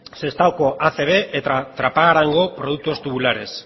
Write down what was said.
sestaoko acb eta trapagarango productos tubulares